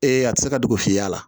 Ee a ti se ka dugu fiyɛ a la